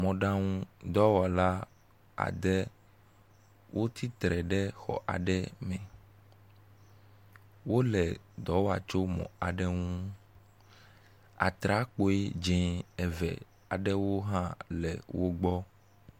Mɔɖaŋu dɔwɔla ade, wotsittre ɖe xɔ aɖe me, wole dɔ wɔa tso mɔ aɖe ŋu, atrakpui dze eve aɖewo hã le wo gbɔ.